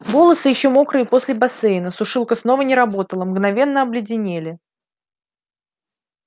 волосы ещё мокрые после бассейна сушилка снова не работала мгновенно обледенели